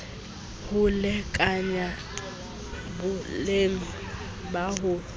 ho lekanya boleng ba ho